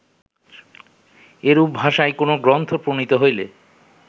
এরূপ ভাষায় কোন গ্রন্থ প্রণীত হইলে